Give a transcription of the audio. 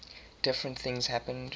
different things happened